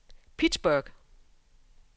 Pittsburgh